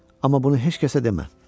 Amma bunu heç kəsə demə.